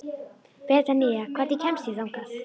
Betanía, hvernig kemst ég þangað?